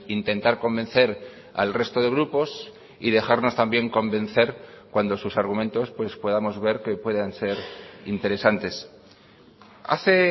intentar convencer al resto de grupos y dejarnos también convencer cuando sus argumentos pues podamos ver que puedan ser interesantes hace